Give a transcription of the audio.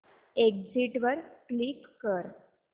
exit वर click कर